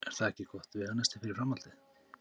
Er það ekki gott veganesti fyrir framhaldið?